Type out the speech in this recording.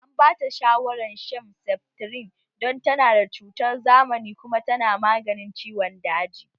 An bata shawaran shan seftrin don tana da cutar zamani kuma tana maganin ciwon daji